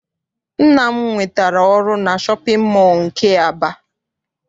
Nna m nwetara ọrụ na shọpịn mọọ nke Aba.